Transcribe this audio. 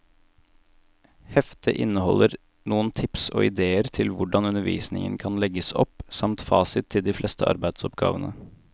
Heftet inneholder noen tips og idéer til hvordan undervisningen kan legges opp, samt fasit til de fleste arbeidsoppgavene.